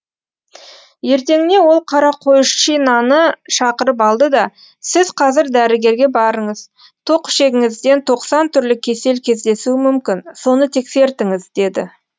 ертеңіне ол қарақойшинаны шақырып алды да сіз қазір дәрігерге барыңыз тоқішегіңізден тоқсан түрлі кесел кездесуі мүмкін соны тексертіңіз деді